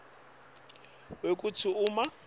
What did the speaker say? kwembandzela wekutsi uma